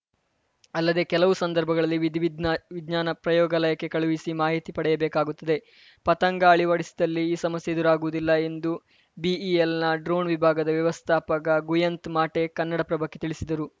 ಅಲ್ಲದೆ ಕೆಲವು ಸಂದರ್ಭಗಳಲ್ಲಿ ವಿಧಿವಿಜ್ಞಾವಿಜ್ಞಾನ ಪ್ರಯೋಗಾಲಯಕ್ಕೆ ಕಳುಹಿಸಿ ಮಾಹಿತಿ ಪಡೆಯಬೇಕಾಗುತ್ತದೆ ಪತಂಗ ಅಳವಡಿಸಿದಲ್ಲಿ ಈ ಸಮಸ್ಯೆ ಎದುರಾಗುವುದಿಲ್ಲ ಎಂದು ಬಿಇಎಲ್‌ನ ಡ್ರೋಣ್‌ ವಿಭಾಗದ ವ್ಯವಸ್ಥಾಪಕ ಗುಯಂತ್‌ಮಾಟೆ ಕನ್ನಡಪ್ರಭಕ್ಕೆ ತಿಳಿಸಿದರು